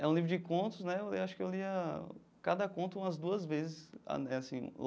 É um livro de contos né, eu acho que eu lia cada conto umas duas vezes é assim.